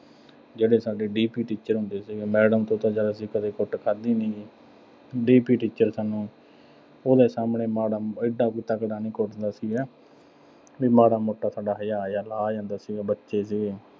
ਜਿਹੜੇ ਸਾਡੇ D. P. teacher ਹੁੰਦੇ ਸੀਗੇ। madam ਤੋਂ ਤਾਂ ਚੱਲ ਅਸੀਂ ਕਦੇ ਕੁੱਟ ਖਾਧੀ ਨੀਂ। D. P. teacher ਸਾਨੂੰ ਉਹਦੇ ਸਾਹਮਣੇ ਮਾੜਾ, ਐਡਾ ਕੋਈ ਤਕੜਾ ਨੀਂ ਕੁੱਟਦਾ ਸੀਗਾ। ਵੀ madam ਦਾ ਚਿਤ ਤਾਂ ਹਜੇ ਆ ਜਾਂਦਾ ਸੀਗਾ ਵੀ ਬੱਚੇ ਗੇ